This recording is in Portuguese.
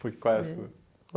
Eh Foi qual é a sua?